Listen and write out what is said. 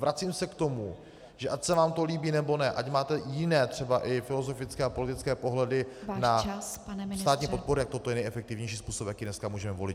Vracím se k tomu, že ať se vám to líbí, nebo ne, ať máte jiné, třeba i filozofické a politické pohledy na státní podporu , tak toto je nejefektivnější způsob, jaký dneska můžeme volit.